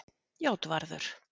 Játvarður